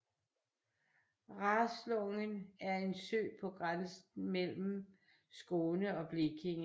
Raslången er en sø på grænsen mellem Skåne og Blekinge